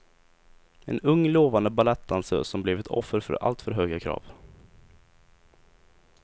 En ung lovande balettdansös som blev ett offer för alltför höga krav.